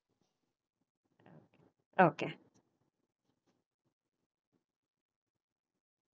Okay.